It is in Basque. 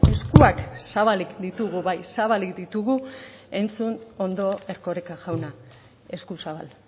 eskuak zabalik ditugu bai zabalik ditugu entzun ondo erkoreka jauna esku zabal